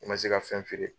I ma se ka fɛn feere